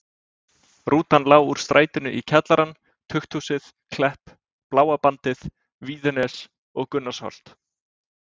Rútan lá úr strætinu í kjallarann, tukthúsið, Klepp, Bláa bandið, Víðines og Gunnarsholt.